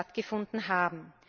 stattgefunden haben.